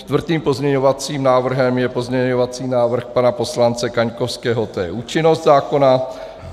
Čtvrtým pozměňovacím návrhem je pozměňovací návrh pana poslance Kaňkovského - to je účinnost zákona.